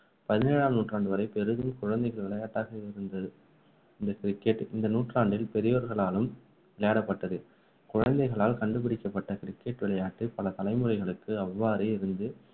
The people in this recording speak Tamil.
பதினேழாம் நூற்றாண்டு வரை பெரிதும் குழந்தைகள் விளையாட்டாக இருந்தது இந்த cricket இந்த நூற்றாண்டில் பெரியோர்களாலும் விளையாடப்பட்டது குழந்தைகளால் கண்டுபிடிக்கப்பட்ட cricket விளையாட்டு பல தலைமுறைகளுக்கு அவ்வாறே இருந்து